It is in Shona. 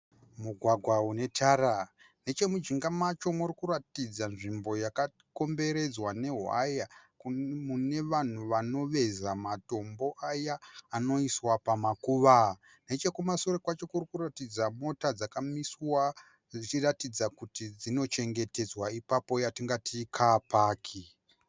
Mugwagwa unetara, nechemujinga macho murikuratidza nzvimbo yakakomboredzwa newaya mune vanhu vanoveza matombo aya anoiswa pamakuva. Nechekumashure kwacho kurikuratidza mota dzakamiswa dzichiratidza kuti dzinochetedzwa apapo yatingati ikapaki.